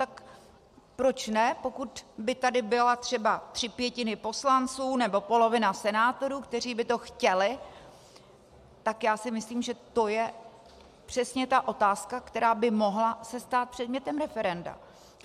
Tak proč ne, pokud by tady byly třeba tři pětiny poslanců nebo polovina senátorů, kteří by to chtěli, tak já si myslím, že to je přesně ta otázka, která by se mohla stát předmětem referenda.